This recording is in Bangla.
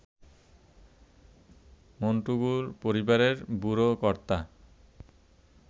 মন্টেগু পরিবারের বুড়ো কর্তা